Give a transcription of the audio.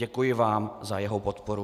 Děkuji vám za jeho podporu.